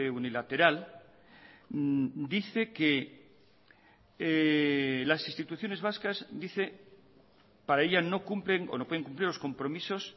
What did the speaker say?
unilateral dice que las instituciones vascas dice para ella no cumplen o no pueden cumplir los compromisos